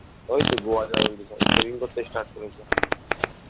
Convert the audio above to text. ওই তো গোয়া যাবে বলছে সব savings করতে start করেছে